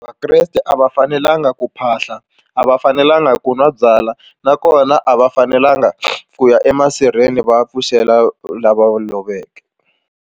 Vakreste a va fanelanga ku phahla a va fanelanga ku nwa byala nakona a va fanelanga ku ya emasirheni va ya pfuxela lava loveke.